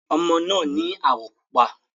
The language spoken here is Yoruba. Ọmọ náà ni áwọ̀ pupa.